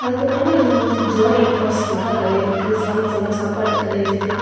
அதுக்கப்புறமா இதுல வந்து ஜோய் ஆலுக்காஸ் நகை கடை இருக்கு. சாம் சாம் சாப்பாட்டு கடை இருக்கு.